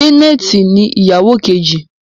Janet ní ìyàwó Kejì.